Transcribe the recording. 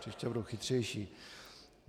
Příště budu chytřejší.